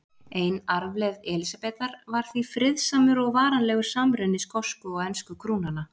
Ein arfleifð Elísabetar var því friðsamur og varanlegur samruni skosku og ensku krúnanna.